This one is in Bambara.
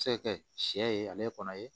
Se ka kɛ sɛ ye ale kɔnɔ ye